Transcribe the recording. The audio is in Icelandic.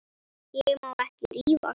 Ég má ekki rífast.